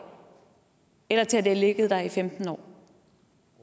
eller til det har ligget der i femten år